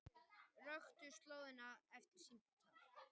Röktu slóðina eftir símtal